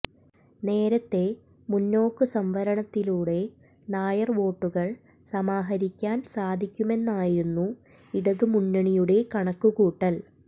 നേരത്തെ മുന്നോക്ക് സംവരണത്തിലൂടെ നായർ വോട്ടുകൾ സമാഹരിക്കാൻ സാധിക്കുമെന്നായിരുന്നു ഇടതു മുന്നണിയുടെ കണക്കു കൂട്ടൽ